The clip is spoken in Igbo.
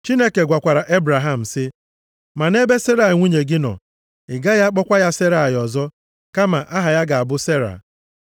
Chineke gwakwara Ebraham sị, “Ma nʼebe Serai nwunye gị nọ, ị gaghị akpọkwa ya Serai ọzọ, kama aha ya ga-abụ Sera.